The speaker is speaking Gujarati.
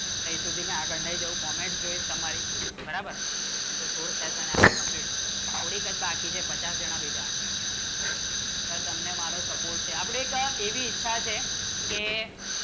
કઈ સુધી ને આગળ જે comment જોવે તમારે બરાબર નહિ તો સોલ પૈસા ને આપણા complete કોની કન બાકી જે પચાસ જાણ પછી તર તમને મારો સપોર્ટ છે કે અપને તર